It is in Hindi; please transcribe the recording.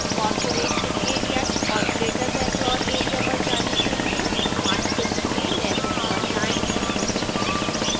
corporation area और greater bangalore area पर जाने के लिए मानचित्र में legend पर जाएं